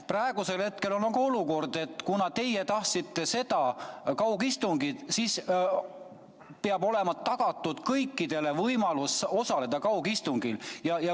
Praegu on olukord, et kuna teie tahtsite seda kaugistungit, siis peab olema kõikidele tagatud võimalus kaugistungil osaleda.